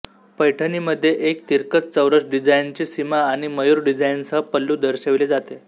पैठणीमध्ये एक तिरकस चौरस डिझाइनची सीमा आणि मयूर डिझाइनसह पल्लू दर्शविले जाते